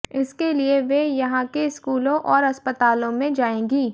इसके लिए वे यहां के स्कूलों और अस्पतालों में जाएंगी